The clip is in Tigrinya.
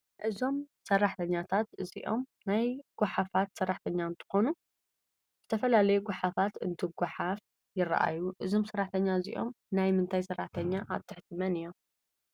እዞም ሰራሕተኛታት እዝኦም ናይ ጋሓፋት ሰራሕተኛ እንትኮኑ ዝተፈላላዩ ጋሓፍት እንትጉሑፍ ይርኣዩ እዞም ሰራሕተኛ እዝኦም ናይ ምንታይ ሰራሕተኛ ኣብ ትሕቲ መን እዮም?